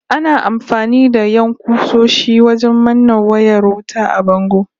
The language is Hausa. Ana amfani da 'yan ƙusoshi wajen manne wayar wuta a bango